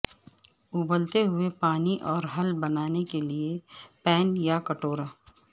ابلتے ہوئے پانی اور حل بنانے کے لئے پین یا کٹورا